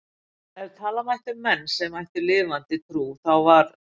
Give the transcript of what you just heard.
Ef tala mætti um menn sem ættu lifandi trú þá var